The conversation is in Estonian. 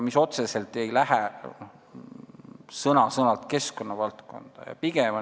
Otseselt, sõna-sõnalt need keskkonnavaldkonna alla ei lähe.